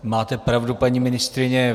Máte pravdu, paní ministryně.